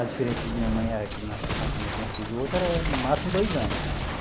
A diferença de minha é que o nascimento de um filho e outro era máximo dois anos.